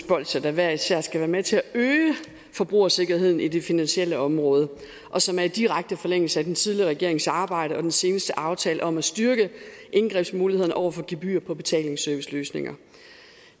bolsjer der hver især skal være med til at øge forbrugersikkerheden på det finansielle område og som er i direkte forlængelse af den tidligere regerings arbejde og den seneste aftale om at styrke indgrebsmulighederne over for gebyrer på betalingsserviceløsninger